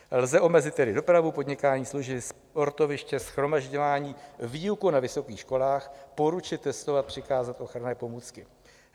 Lze omezit tedy dopravu, podnikání, služby, sportoviště, shromažďování, výuku na vysokých školách, poručit testovat, přikázat ochranné pomůcky.